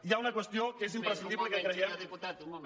hi ha una qüestió que és imprescindible i que creiem